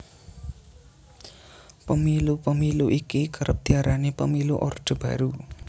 Pemilu Pemilu iki kerep diarani Pemilu Orde Baru